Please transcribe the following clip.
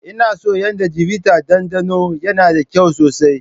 Ina son yadda chivita dandano, yana da kyau sosai.